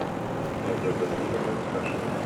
надежда леонидовна кашина